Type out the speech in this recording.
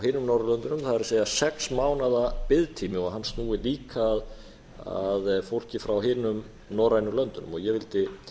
hinum norðurlöndunum það er sex mánaða biðtími og hann snúi líka að fólki frá hinum norrænu löndunum ég vildi